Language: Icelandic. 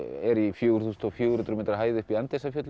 er í fjögur þúsund fjögur hundruð metra hæð uppi í